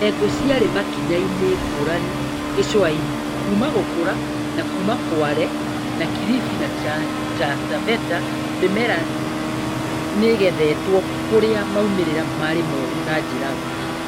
Ndengũ ciarĩ makinya-inĩ ngũrani gĩcũa-inĩ kuuma gũkũra na kũũma Kwale na Kilifi, na Taita Taveta mĩmera nĩgethetwo kũrĩa maumĩrĩra marĩ moru na njira nguhĩ